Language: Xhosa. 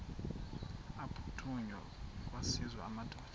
aphuthunywayo kwaziswe amadoda